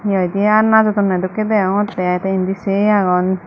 hihoidey najodonney dokkey deongottey te indi sei agon.